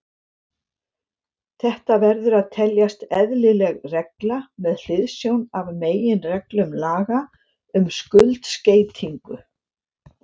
Þetta verður að teljast eðlileg regla með hliðsjón af meginreglum laga um skuldskeytingu.